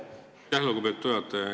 Aitäh, lugupeetud juhataja!